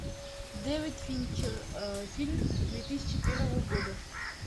дэвид финчер фильм две тысячи первого года